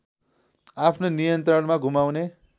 आफ्नो नियन्त्रणमा घुमाउने